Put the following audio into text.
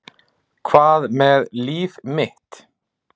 Hvað með mitt líf?